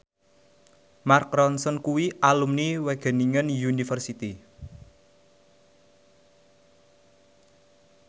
Mark Ronson kuwi alumni Wageningen University